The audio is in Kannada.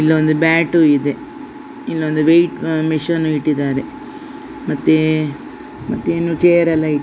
ಇಲ್ಲೊಂದು ಬ್ಯಾಟ್ ಇದೆ ಇಲ್ಲೊಂದು ವೆಯಿಟ್ ಮೆಷಿನ್ ಇಟ್ಟಿದ್ದಾರೆ ಮತ್ತೆ ಮತ್ತೆ ಇನ್ನು ಚೇರ್ ಎಲ್ಲ ಇಟ್ಟಿದ್ದಾರೆ.